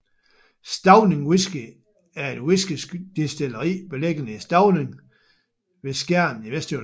Stauning Whisky er et whiskydestilleri beliggende i Stauning ved Skjern i Vestjylland